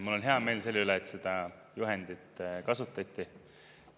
Mul on hea meel selle üle, et seda juhendit kasutati.